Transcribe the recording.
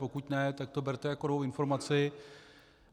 Pokud ne, tak to berte jako novou informaci.